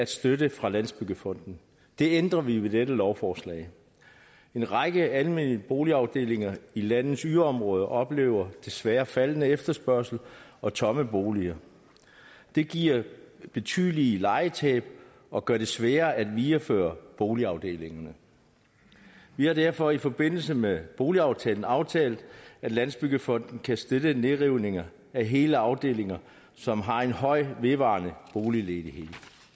støtte fra landsbyggefonden det ændrer vi med dette lovforslag en række almene boligafdelinger i landets yderområder oplever desværre faldende efterspørgsel og tomme boliger det giver betydelige lejetab og gør det sværere at videreføre boligafdelingerne vi har derfor i forbindelse med boligaftalen aftalt at landsbyggefonden kan støtte nedrivninger af hele afdelinger som har en høj vedvarende boligledighed